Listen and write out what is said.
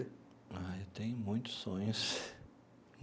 Ah, eu tenho muitos sonhos.